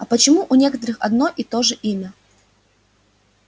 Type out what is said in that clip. а почему у некоторых одно и то же имя